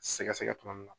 Sɛgɛsɛgɛ tuma min na